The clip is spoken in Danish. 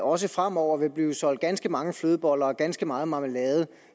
også fremover vil blive solgt ganske mange flødeboller og ganske meget marmelade